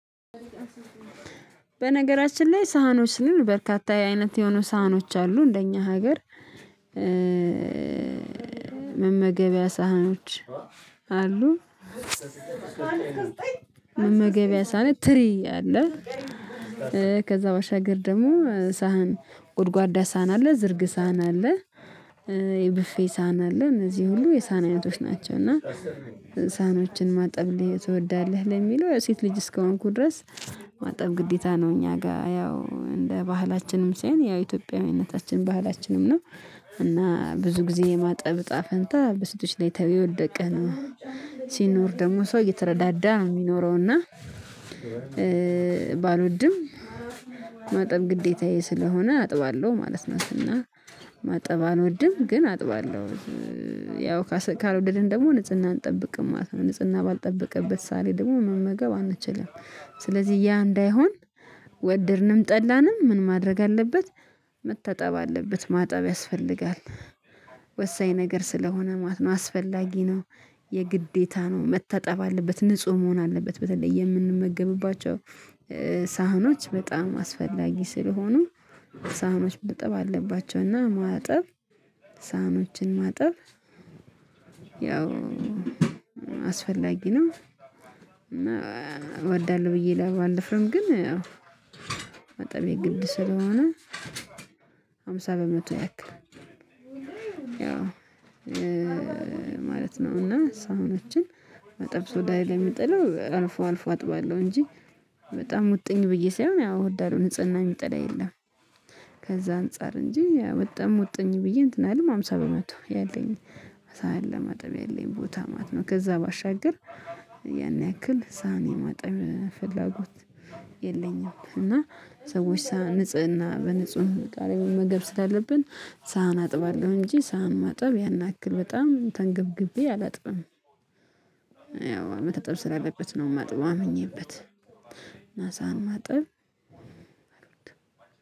በነገራችን ላይ ሳህኖችን በርካታ የአይነት የሆኑ ሳህኖች አሉ እንደኛ ሀገር መመገቢያ ሳህኖች አሉ። መመገቢያ ሳህን ትሪ አለ። ከዛ ባሻገር ደግሞ ሳህን ጉድጓዳ ሳህን አለ ዝርግ ሳህን አለ የቡፌ ሳህን አለ እነዚህ ሁሉ የሳህን አይነቶች ናቸው። እና ሳኖችን ማጠብ ትወዳለህ ለሚለው የሴት ልጅ እስከሆንኩ ድረስ ማጠብ ግዴታ ነው። እኛ ጋር ያው እንደ ባህላችንም ሳይሆን ያ ኢትዮጵያዊነታችን ባህላችንም ነው። እና ብዙ ጊዜ የማጠብ እጣ ፈንታ በሴቶች ላይ የወደቀ ነው ሲኖር ደግሞ ሰው እየተረዳዳ የሚኖረውና ባልወድም ማጠብ ግዴታዬ ስለሆነ አጥባለሁ ማለት ነው። እና ማጠብ አልወድም ግን አጥባለሁ ያው ካልወደድን ደግሞ ንጽህናን እንጠብቅም ማለት ነው። ንጽህና ባልተጠበቀበት ሳህን ደግሞ መመገብ አንችልም። ስለዚህ ያ እንዳይሆን ወደድንም ጠላንም ምን ማድረግ አለበት? መታጠብ አለበት ማጠብ ያስፈልጋል። ወሳኝ ነገር ስለሆነ ማለት ነው አስፈላጊ ነው። የግዴታ ነው መታጠብ አለበት ንጹህ መሆን አለበት። በተለይ የምንመገብባቸው ሳህኖች በጣም አስፈላጊ ስለሆኑ ሳህኖች መታጠብ አለባቸው። እና ማጠብ ሳህኖችን ማጠብ ያው አስፈላጊ ነው። እና እወዳለሁ ብዬ ባልደፍርም ግን ያው ማጠቤ ግድ ስለሆነ አምሳ በመቶ ያክል ያው ማለት ነው። እና ሳሕኞችን ማጠብ ሶዳይ ላይ የሚጥለው አልፎ አልፎ አጥባለሁ እንጂ በጣም ሙ ጥኝ ብዬ ሳይሆን ያው ወዳለው ንጽህና የሚጠላ የለም። ከዛ አንፃር እንጂ በጣም ሙጥኝ ብዬ እንትን አይደለም። ሃምሳ በመቶ ያለኝ ሳህን ለማጠብ ያለኝ ቦታ ማለት ነው። ከዛ ባሻገር ያን ያክል ሳህን የማጠብ ፍላጎት የለኝም። እና ሰዎች ሳህን ንጽህና በንጹህ እቃ መመገብ ስላለብን ሳህን አጥባለሁ እንጂ ሳህን ማጠብ ያን ያክል በጣም ተንገብግቤ አላጥብም። ያው መታጠብ ስላለበት ነው የማጥበው አምኜበት እና ሳህን ማጠብ አልወድም